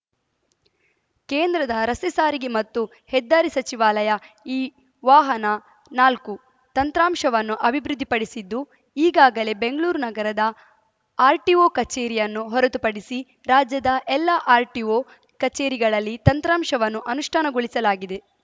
ಕೇಂದ್ರದ ರಸ್ತೆ ಸಾರಿಗೆ ಮತ್ತು ಹೆದ್ದಾರಿ ಸಚಿವಾಲಯ ಈ ವಾಹನನಾಲ್ಕು ತಂತ್ರಾಂಶವನ್ನು ಅಭಿವೃದ್ಧಿಪಡಿಸಿದ್ದು ಈಗಾಗಲೇ ಬೆಂಗ್ಳುರ್ ನಗರದ ಆರ್‌ಟಿಒ ಕಚೇರಿಯನ್ನು ಹೊರತುಪಡಿಸಿ ರಾಜ್ಯದ ಎಲ್ಲಾ ಆರ್‌ಟಿಒ ಕಚೇರಿಗಳಲ್ಲಿ ತಂತ್ರಾಂಶವನ್ನು ಅನುಷ್ಠಾನಗೊಳಿಸಲಾಗಿದೆ